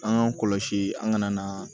An k'an kɔlɔsi an ka na na